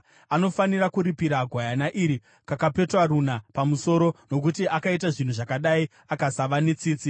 Anofanira kuripira gwayana iri kakapetwa runa pamusoro, nokuti akaita zvinhu zvakadai akasava netsitsi.”